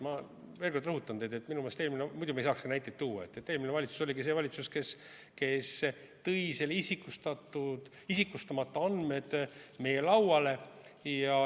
Ma veel kord rõhutan – muidu me ei saaks ju näiteid tuua –, et eelmine valitsus oligi see valitsus, kes tõi need isikustamata andmed meie lauale.